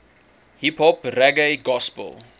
hiphop reggae gospel